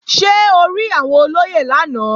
Ṣé o rí àwọn olóyè lánàá?